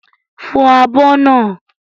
Fọ àbọ̀ naa!